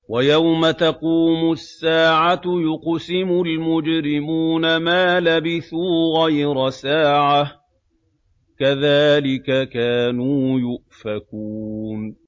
وَيَوْمَ تَقُومُ السَّاعَةُ يُقْسِمُ الْمُجْرِمُونَ مَا لَبِثُوا غَيْرَ سَاعَةٍ ۚ كَذَٰلِكَ كَانُوا يُؤْفَكُونَ